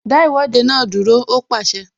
Dá Ìwọ́de náà dúró! Ó pàṣẹ